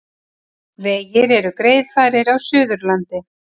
Vegir eru greiðfærir á Suðurlandi